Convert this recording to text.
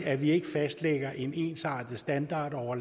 at vi ikke fastlægger en ensartet standard over